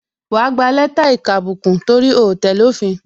Wa gba lẹ́tà ìkàbùkù, torí o tẹ́lẹ̀ òfin